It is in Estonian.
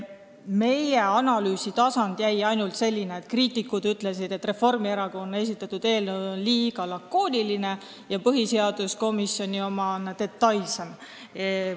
Meie analüüsitasand oli selline, et kriitikute arvates on Reformierakonna esitatud eelnõu liiga lakooniline ja põhiseaduskomisjoni oma on detailsem.